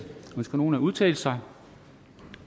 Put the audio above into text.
ønsker nogen at udtale sig